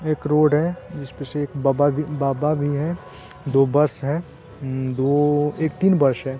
एक रोड है जिस पे से एक बबा भी बाबा भी हैं दो बस है उम दो एक तीन बश है।